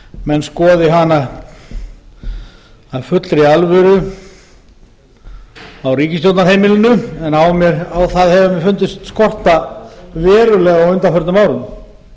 menn skoði hana af fullri alvöru á ríkisstjórnarheimilinu en á það hefur mér fundist skorta verulega á undanförnum árum